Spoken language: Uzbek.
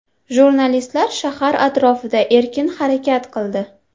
Jurnalistlar shahar atrofida erkin harakat qildi.